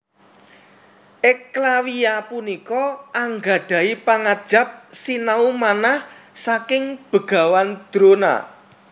Eklawya punika anggadhahi pangajap sinau manah saking Begawan Drona